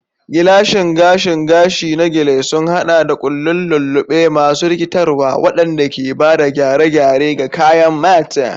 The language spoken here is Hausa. Gilashin gashin gashi na Gele sun haɗa da ƙullun lulluɓe masu rikitarwa, waɗanda ke ba da gyare-gyare ga kayan mata.